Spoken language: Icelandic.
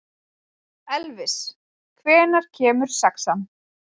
Elvis, hvenær kemur sexan?